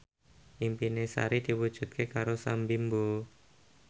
impine Sari diwujudke karo Sam Bimbo